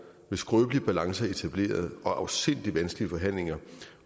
en skrøbelig balance etableret og afsindig vanskelige forhandlinger